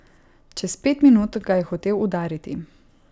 Čez pet minut ga je hotel udariti.